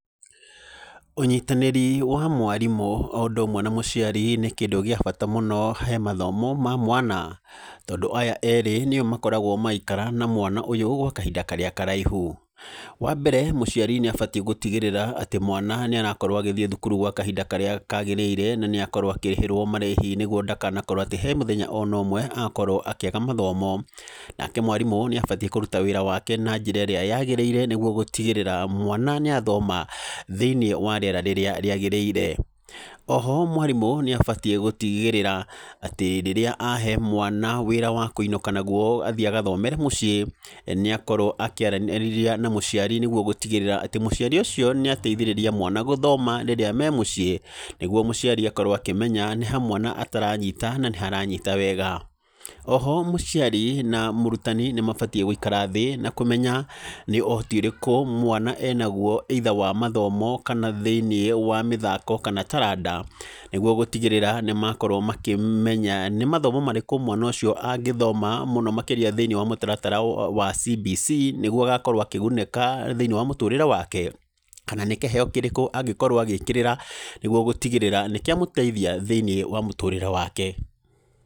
Ũnyitanĩri wa mwarimũ o ũndũ ũmwe na mũciari nĩ kĩndũ gĩa bata mũno hemathomo ma mwana. Tondũ aya erĩ nĩo makoragwo magĩikara na mwana ũyũ gwa kahinda karĩa karaihu. Wambere, mũciari nĩ abatiĩ gũtigĩrĩra mwana nĩ arakorwo agĩthiĩ thukuru gwa kahinda karĩa kagĩrĩire, na nĩ akorwo akĩrĩhĩrwo marĩhi nĩguo ndakanakorwo atĩ, hena mũthenya ona ũmwe agakorwo akĩaga mathomo. Nake mwarimũ nĩabatiĩ kũruta wĩra wake na njĩra ĩrĩa yagĩrĩire nĩguo gũtigĩrĩra atĩ mwana nĩ athoma thĩinĩ wa rĩera rĩrĩa rĩagĩrĩire. Oho, mwarimũ nĩabatiĩ gũtigĩrĩra atĩ, rĩrĩa ahe mwana wĩra wa kũinũka naguo athiĩ agathomere mũciĩ, mbere mũciĩ nĩakorwo akĩaranĩria na mũciari nĩguo gũtigĩrĩra atĩ, mũciari ũcio nĩ ateithĩrĩria mwana gũthoma rĩrĩa memuciĩ. Nĩguo mũciari akorwo akĩmenya nĩha mwana ataranyita, na nĩha aranyita wega. Oho mũciari na mũrutani nĩmabatiĩ gũikara thĩ na kũmenya nĩ ũhoti ũrĩkũ mwana enagwo, either wa mathomo kana thĩinĩ wa mathako kana taranda, nĩguo gũtigĩrĩra nĩmakorwo makĩmenya nĩ mathomo marĩkũ mwana ũcio angĩthoma thĩinĩ wa mũtaratara wa CBC, nĩguo agakorwo akĩgunĩka thĩinĩ wa mũtũrĩre wake, kana nĩ kĩheyo kĩrĩkũ kĩngĩ angĩkorwo agĩgĩkĩrĩra nĩguo gũtigĩrĩra nĩkĩamũteithia thĩinĩ wa mũtũrĩre wake.